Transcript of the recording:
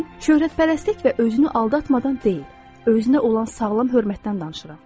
Mən şöhrətpərəstlik və özünü aldatmadan deyil, özünə olan sağlam hörmətdən danışıram.